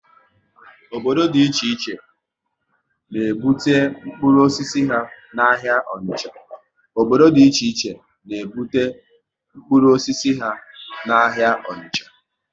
Obodo dị iche iche na ebute mkpụrụ osisi ha n' ahịa Onicha